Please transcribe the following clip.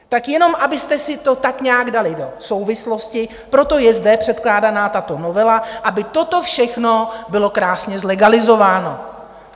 Tak jenom abyste si to tak nějak dali do souvislosti, proto je zde předkládána tato novela, aby toto všechno bylo krásně zlegalizováno.